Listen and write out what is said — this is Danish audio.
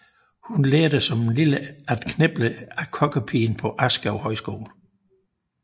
Hun lærte som lille at kniple af kokkepigen på Askov Højskole